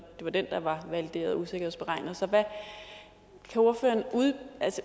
det var den der var valideret og usikkerhedsberegnet så kan ordføreren